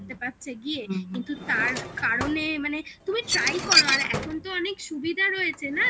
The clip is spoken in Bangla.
পাচ্ছে গিয়ে কিন্তু তার কারণে মানে তুমি try করো আর এখন তো অনেক সুবিধা রয়েছে না যে